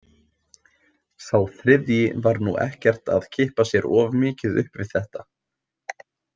Sá þriðji var nú ekkert að kippa sér of mikið upp við þetta.